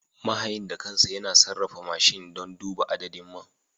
Mahayin da kansa yana sarrafa mashin don duba adadin man.